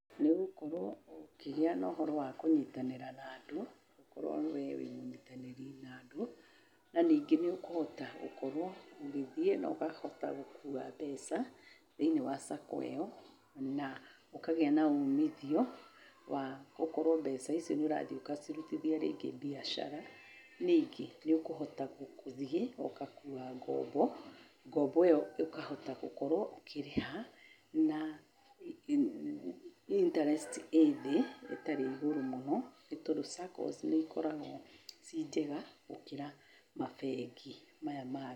Nĩ ũgũkorwo ũkĩgĩa na ũhoro wa kũnyitanĩra na andũ okorwo we wĩ mũnyitanĩri na andũ, na ningĩ nĩ ũkũhota gũkorwo ũgĩthiĩ na ũkahota gũkua mbeca thĩinĩ wa sacco ĩyo na ũkagĩa na umithio wa gũkorwo mbeca icio nĩũrathiĩ ũkacirutithia rĩngĩ mbiacara. Ningĩ nĩ ũkũhota gũthiĩ ũgakuua ngombo, ngombo ĩyo ũkahota gũkorwo ũkĩrĩha na interest ĩ thĩĩ, ĩtarĩ igũrũ mũno, nĩ tondũ saccos nĩikoragwo ciĩ njega gũkĩra mabengi maya mangĩ.